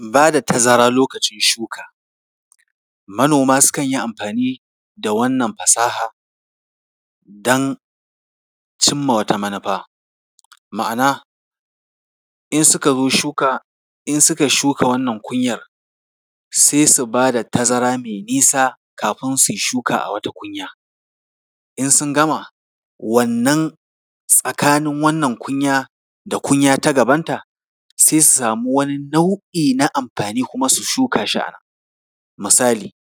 Ba da tazara lokacin shuka. Manoma sukan yi amfani da wannan fasaha don cinma wata manufa. Ma’ana, in suka zo shuka, in suka shuka wannan kunyar, sai su ba da tazara mai nisa kafin su yi shuka a wata kunya. In sun gama, wannan tsakanin wannan kunya da kunya ta gabanta, sai su samu wani nau’i na amfani kuma su shuka shi a nan. Misali,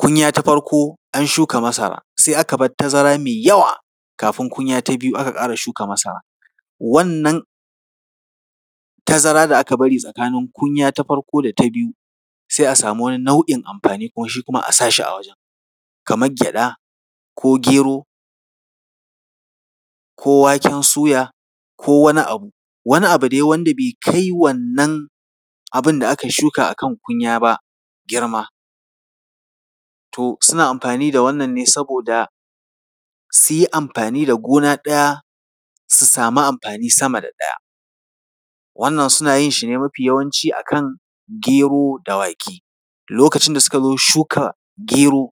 kunya ta farko, an shuka masara, sai aka bar tazara mai yawa, kafin kunya ta biyu aka ƙara shuka masara. Wannan tazara da aka bari tsakanin kunya ta farko da ta biyu, sai a samu wani nau’in amfani shi kuma a sashi a wajen. Kamar gyaɗa ko gero ko waken soya ko wani abu, wani abu dai wanda bai kai wannan abin da aka shuka a kan kunya ba girma. To suna amfani da wannan ne saboda su yi amfani da gona ɗaya, su samu amfani sama da ɗaya. Wannan suna yin shi ne mafi yawanci a kan gero da wake, lokacin da suka zo shuka gero,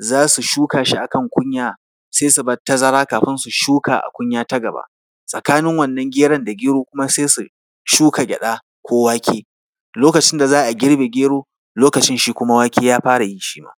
za su shuka shi a kan kunya, sai su bar tazara kafin su shuka a kunya ta gaba. Tsakanin wannan geron da gero kuma sai su shuka gyaɗa ko wake. Lokacin da za a girbe gero, lokacin shi kuma wake ya fara yi shi ma.